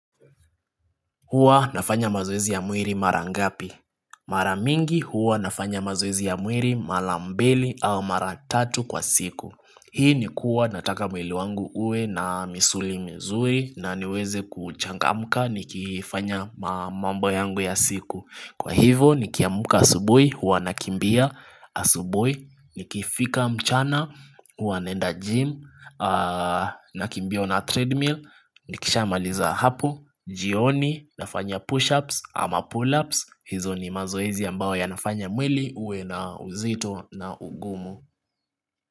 Huwa nafanya mazoezi ya mwiri mara ngapi? Mara mingi huwa nafanya mazoezi ya mwiri mara mbili au mara tatu kwa siku. Hii ni kuwa nataka mwili wangu uwe na misuli mzuri na niweze kuchangamka nikifanya mambo yangu ya siku. Kwa hivo nikiamka asubuhi huwa nakimbia asubuhi. Nikifika mchana huwa naenda gym. Nakimbia on a treadmill. Nikishamaliza hapo. Jioni nafanya push ups ama pull ups hizo ni mazoezi ambao yanafanya mwili uwe na uzito na ugumu.